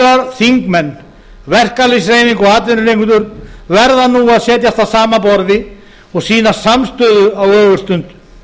ráðherrar þingmenn verkalýðshreyfing og atvinnurekendur verða nú að setjast að sama borði og sýna samstöðu á ögurstund